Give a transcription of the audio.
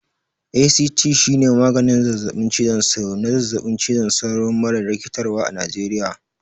ACT shine maganin zazzaɓin cizon sauro na zazzaɓin cizon sauro mara rikitarwa a Najeriya.